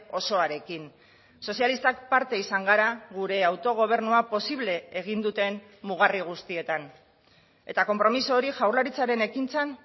osoarekin sozialistak parte izan gara gure autogobernua posible egin duten mugarri guztietan eta konpromiso hori jaurlaritzaren ekintzan